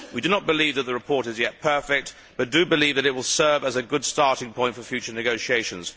We do not believe that the report is yet perfect, but do believe that it will serve as a good starting point for future negotiations.